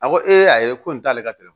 A ko ee a ye ko in t'ale ka tele